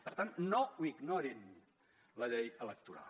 per tant no ignorin la llei electoral